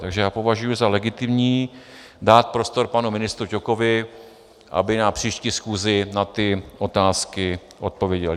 Takže já považuji za legitimní dát prostor panu ministru Ťokovi, aby na příští schůzi na ty otázky odpověděl.